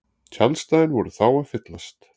Tjaldsvæðin voru þá að fyllast